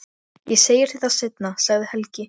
Ég segi þér það seinna, sagði Helgi.